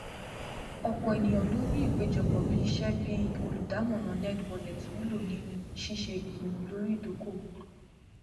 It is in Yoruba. ọpọ ènìyàn ló ń rí ìpéjọpọ bíi iṣẹ bi olùdámọràn nerdwallet wúlò nínú ṣíṣe ìpinnu lóró ìdókòwò